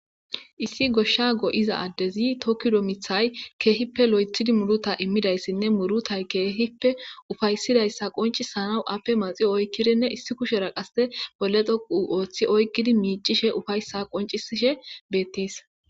issi goshsha go7iza addezi to kido mithay keehippe lo7ethidi muruta immidayssinne murutay keehipe ufayssidayssa qonci sanawu appe maxio oykkirinne issi kushera qase bollexoqu ooththi oykkidi miicishe ufayssa qoncisishe bettees